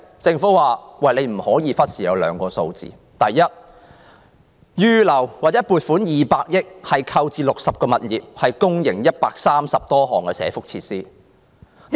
政府說不要忽視"利民生"：第一，撥款200億元用來購置60個物業，營辦130多項社福設施。